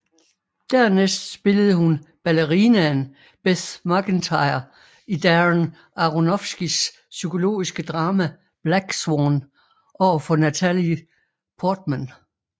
Dernæst spillede hun ballerinaen Beth Macintyre i Darren Aronofskys psykologiske drama Black Swan overfor Natalie Portman